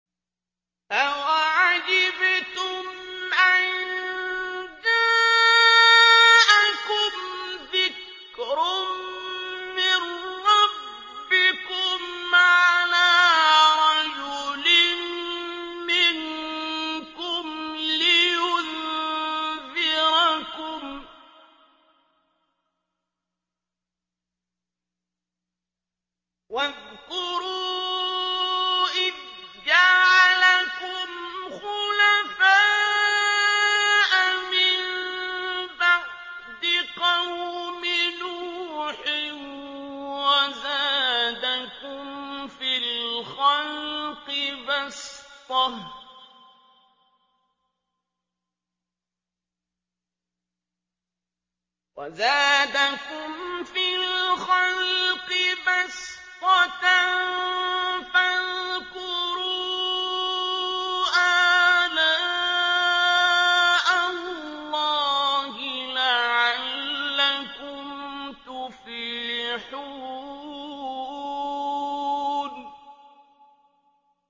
أَوَعَجِبْتُمْ أَن جَاءَكُمْ ذِكْرٌ مِّن رَّبِّكُمْ عَلَىٰ رَجُلٍ مِّنكُمْ لِيُنذِرَكُمْ ۚ وَاذْكُرُوا إِذْ جَعَلَكُمْ خُلَفَاءَ مِن بَعْدِ قَوْمِ نُوحٍ وَزَادَكُمْ فِي الْخَلْقِ بَسْطَةً ۖ فَاذْكُرُوا آلَاءَ اللَّهِ لَعَلَّكُمْ تُفْلِحُونَ